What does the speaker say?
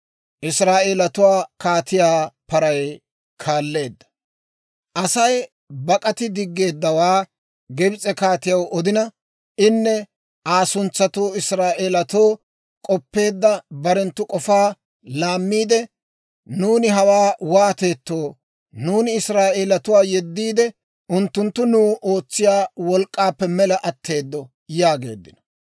Aasi bak'ati diggeeddawaa Gibs'e kaatiyaw odina, inne Aa suntsatuu Israa'eelatoo k'oppeedda barenttu k'ofaa laammiide, «Nuuni hawaa waateettoo? Nuuni Israa'eelatuwaa yeddiide, unttunttu nuw ootsiyaa wolk'k'aappe mela atteedo» yaageeddino.